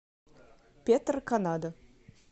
петро канада